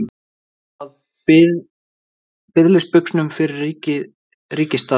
Ert þú á biðilsbuxunum fyrir ríkisaðstoð?